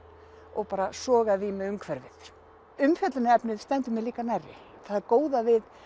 og sogaði í mig umhverfið umfjöllunarefnið stendur mér líka nærri það góða við